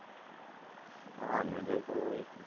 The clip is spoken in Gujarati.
હા, medal તો હોય જ ને